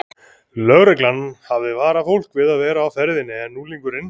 Lögreglan hafði varað fólk við að vera á ferðinni en unglingurinn